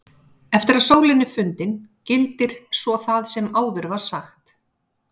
Eftir að sólin er fundin gildir svo það sem áður var sagt.